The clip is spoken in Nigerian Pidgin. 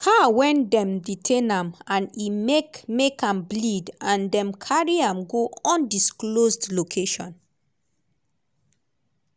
car wen dem detain am and e make make am bleed and dem carry am go undisclosed location.